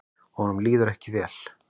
Honum líður ekki vel.